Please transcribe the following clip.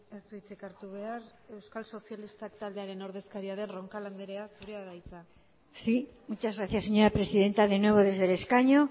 ez du hitzik hartu behar euskal sozialistak taldearen ordezkaria den roncal andrea zurea da hitza sí muchas gracias señora presidenta de nuevo desde el escaño